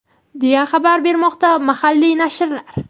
deya xabar bermoqda mahalliy nashrlar.